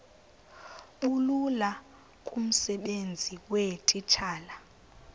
bulula kumsebenzi weetitshala